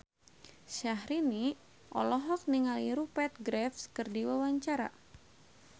Syaharani olohok ningali Rupert Graves keur diwawancara